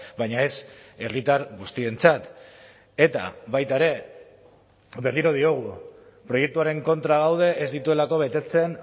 baina ez herritar guztientzat eta baita ere berriro diogu proiektuaren kontra gaude ez dituelako betetzen